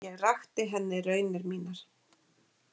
Ég rakti henni raunir mínar.